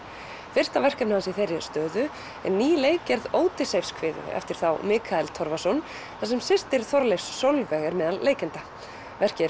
fyrsta verkefni hans í þeirri stöðu er ný leikgerð á Ódysseifskviðu eftir þá Mikael Torfason þar sem systir Þorleifs Sólveig er meðal leikenda verkið